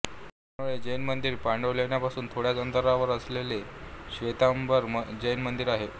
विल्होळी जैन मंदिर पांडवलेण्यांपासून थोड्याच अंतरावर असलेले श्वेतांबर जैनमंदिर आहे